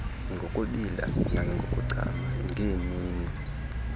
ngokubila nangokuchama ngeemini